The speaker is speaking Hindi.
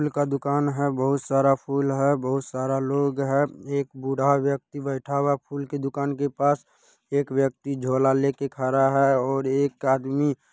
फूल का दूकान है बहुत सारा फूल है बहुत सारा लोग है। एक बुढ़ा व्यक्ति बैठा हुआ है फूल के दूकान के पास। एक व्यक्ति झोला लेके खड़ा है और एक आदमी---